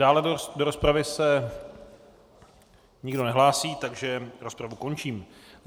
Dále do rozpravy se nikdo nehlásí, takže rozpravu končím.